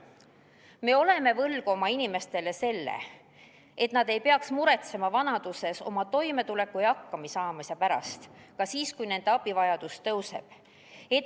Me oleme võlgu oma inimestele selle, et nad ei peaks muretsema vanaduses oma toimetuleku ja hakkamasaamise pärast ka siis, kui nende abivajadus tõuseb.